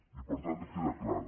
i per tant queda clara